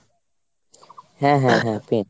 হ্যাঁ হ্যাঁ হ্যাঁ print।